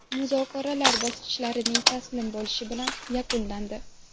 Muzokaralar bosqinchilarning taslim bo‘lishi bilan yakunlandi.